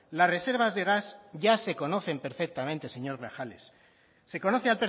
las reservas de gas ya se conocen perfectamente señor grajales se conoce